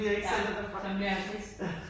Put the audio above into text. Nu jeg ikke selv er derfra